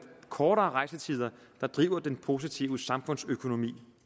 kortere rejsetider der driver den positive samfundsøkonomi